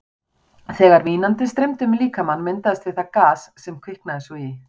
Þegar vínandinn streymdi um líkamann, myndaðist við það gas, sem kviknaði svo í.